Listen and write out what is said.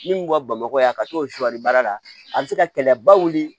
Min ka bamakɔ yan ka t'o suwali baara la a bɛ se ka kɛlɛba wuli